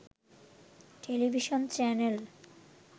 television channel